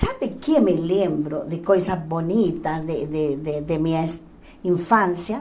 Sabe o que me lembro de coisa bonita de de de de minha infância?